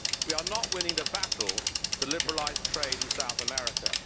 We are not winning the battle to liberalise trade in South America.